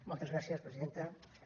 moltes gràcies presidenta diputats